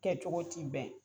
Kɛcogo ti bɛn.